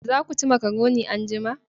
Za ku ci makaroni anjima